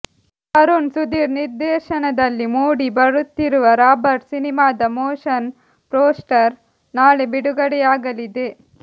ತರುಣ್ ಸುಧೀರ್ ನಿರ್ದೇಶನದಲ್ಲಿ ಮೂಡಿಬರುತ್ತಿರುವ ರಾಬರ್ಟ್ ಸಿನಿಮಾದ ಮೋಷನ್ ಪೋಸ್ಟರ್ ನಾಳೆ ಬಿಡುಗಡೆಯಾಗಲಿದೆ